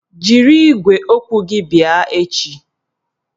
Jiri igwe okwu gị bịa echi!